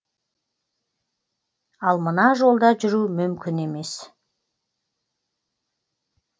ал мына жолда жүру мүмкін емес